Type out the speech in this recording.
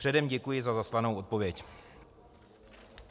Předem děkuji za zaslanou odpověď.